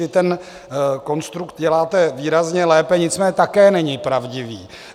Vy ten konstrukt děláte výrazně lépe, nicméně také není pravdivý.